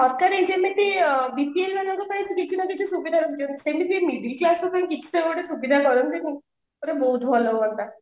ସରକାର ଯେମିତି BPL ମାନଙ୍କ ପାଇଁ କିଛିନା କିଛି ସୁବିଧା ସୁଯୋଗ ସେମିତେ middle class ମାନଙ୍କ ପାଇଁ କିଛି ତ ଗୋଟେ ସୁବିଧା ଦଅନ୍ତିନି ଆରେ ବହୁତ ଭଲ ହୁଅନ୍ତା